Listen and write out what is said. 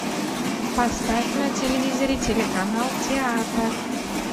поставь на телевизоре телеканал театр